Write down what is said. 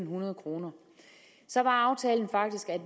hundrede kroner så var aftalen faktisk at